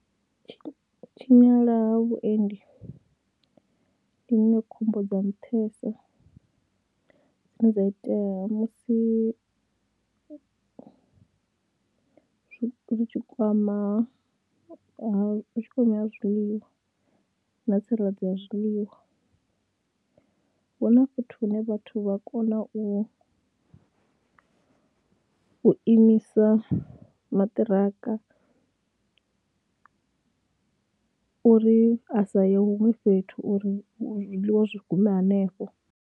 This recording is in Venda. U tshinyala ha vhuendi ndi iṅwe khombo dza nṱhesa dzine dza itea musi zwi tshi kwama ha u tshi khou ṋea zwiḽiwa na tsireledzo ya zwiḽiwa, hu na fhethu hune vhathu vha kona u u imisa maṱiraka uri a sa ye huṅwe fhethu uri zwiḽiwa zwi gume hanefho.